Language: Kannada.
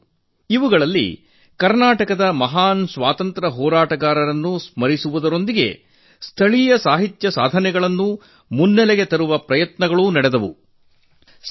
ಆ ಕಾರ್ಯಕ್ರಮಗಳಲ್ಲಿ ಕರ್ನಾಟಕದ ಮಹಾನ್ ಸ್ವಾತಂತ್ರ್ಯ ಹೋರಾಟಗಾರರನ್ನು ಸ್ಮರಿಸುವ ಜೊತೆಗೆ ಸ್ಥಳೀಯ ಸಾಹಿತ್ಯ ಸಾಧನೆಗಳನ್ನು ಮುನ್ನೆಲೆಗೆ ತರುವ ಪ್ರಯತ್ನ ನಡೆಸಲಾಯಿತು